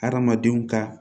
Hadamadenw ka